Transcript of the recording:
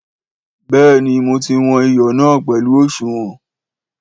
Béèni mo ti wọn iyọ na pẹlu òṣùwọ̀n